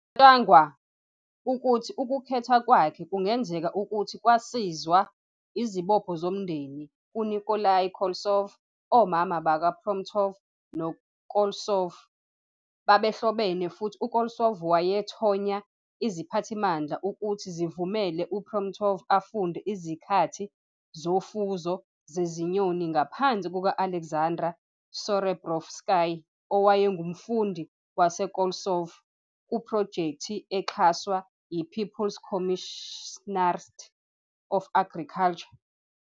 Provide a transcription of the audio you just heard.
Kucatshangwa ukuthi ukukhetha kwakhe kungenzeka ukuthi kwasizwa izibopho zomndeni kuNikolai Koltsov Omama bakaPromptov noKoltsov babehlobene futhi uKoltsov wathonya iziphathimandla ukuthi zivumele uPromptov afunde izakhi zofuzo zezinyoni ngaphansi kuka- Alexander Serebrovsky, owayengumfundi waseKoltsov, kuphrojekthi exhaswa yi-People's Commissariat of Agriculture.